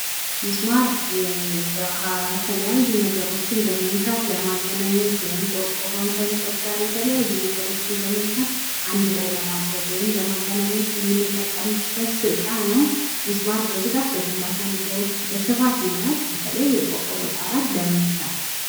ሚስማር የተለያዩ ነገሮችን በመምታት ለማገናኘት ውይም ቆርቆሮውን ከእንጨት ጋር የተለያዩ ነገሮችን በመምታት አንድ ላይ ለመድረግ የምንጠቀምበት እቃ ነው። ሚስማር ለግንባታ ነገሮች በስፋት ይውላል። በተለይ ቆርቆሮን ለመምታት።